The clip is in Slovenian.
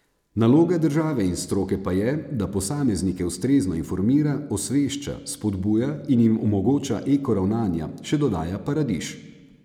Naloga države in stroke pa je, da posameznike ustrezno informira, osvešča, spodbuja in jim omogoča eko ravnanja, še dodaja Paradiž.